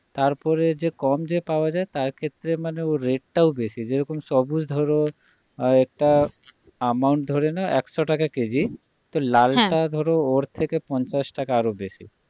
তারপরে যে কম যে পাওয়া যায় তারক্ষেত্রে মানেও rate টাও বেশি যেরকম সবুজ ধরো আর একটা amount ধরে নাও একশো টাকা কেজি তো লালটা ধরো হ্যাঁ ওর থেকে পঞ্চাশ টাকা আরো বেশি